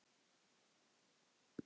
Rýndi í hvert horn.